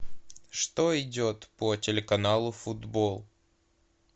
что идет по телеканалу футбол